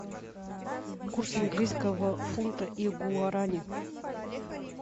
курс английского фунта и гуарани